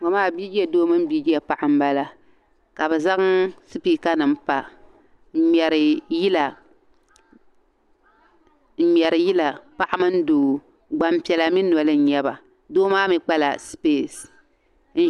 Ŋɔ maa biije doo mini biije paɣa m-bala ka bɛ zaŋ sipikanima pa ŋ-ŋmɛri yila paɣa mini doo gbampiɛla mi noli n-nyɛ ba doo maa mi kpala sipesi.